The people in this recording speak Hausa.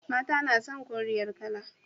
Mata na son koriyar kala.